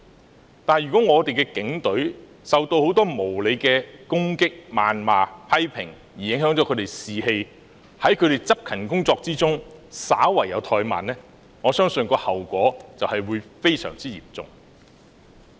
此外，如果我們的警隊受到很多無理的攻擊、謾罵及批評，因而影響他們的士氣，導致他們在執勤工作中稍有怠慢，我相信後果會非常嚴重。